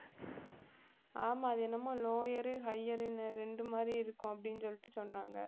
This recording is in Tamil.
ஆமா அது என்னமோ lower, higher ன்னு ரெண்டு மாதிரி இருக்கும் அப்படின்னு சொல்லிட்டு சொன்னாங்க